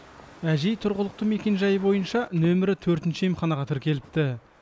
әжей тұрғылықты мекенжайы бойынша нөмірі төртінші емханаға тіркеліпті